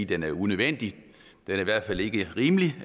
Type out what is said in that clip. den er unødvendig den er i hvert fald ikke rimelig